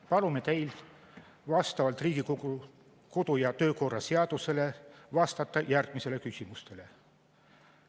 Palume teil vastavalt Riigikogu kodu- ja töökorra seadusele vastata järgmistele küsimustele.